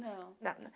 Não. Não, não